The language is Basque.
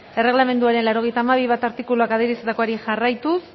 erregelamenduaren laurogeita hamabi puntu bat artikuluak adierazitakoari jarraituz